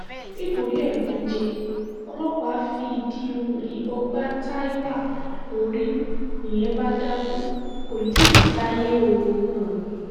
nítorí ẹ̀gúnjẹ ọlọ́pàá fi ìdí um ìbọn gbá táiwa lórí nìyẹn bá dákú kó tì í jí sáyé o um